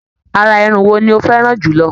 Àrà Irun wo ni o fẹràn jùlọ?